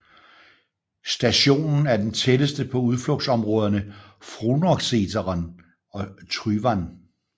Stationen er den tætteste på udflugtsområderne Frognerseteren og Tryvann